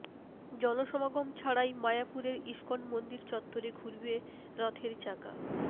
জনসমাগম ছাড়াই মায়াপুরের ইসকন মন্দির চত্বরে ঘুরবে রথের চাকা